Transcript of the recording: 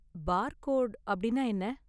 Barcode அப்படின்னா என்ன?